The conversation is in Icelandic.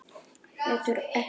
Hverfur ekki.